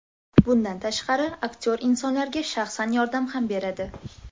Bundan tashqari, aktyor insonlarga shaxsan yordam ham beradi.